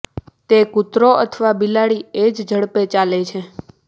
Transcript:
તે કૂતરો અથવા બિલાડી એ જ ઝડપે ચાલે છે